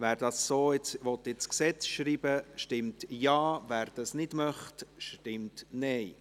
Wer dies so ins Gesetz schreiben will, stimmt Ja, wer das nicht möchte, stimmt Nein.